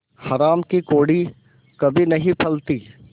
हराम की कौड़ी कभी नहीं फलती